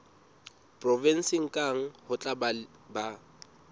provenseng kang ho tla ba